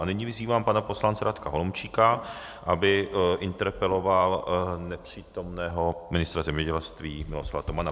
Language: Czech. A nyní vyzývám pana poslance Radka Holomčíka, aby interpeloval nepřítomného ministra zemědělství Miroslava Tomana.